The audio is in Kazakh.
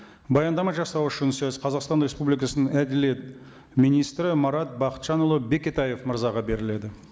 баяндама жасау үшін сөз қазақстан республикасының әділет министрі марат бақытжанұлы бекетаев мырзаға беріледі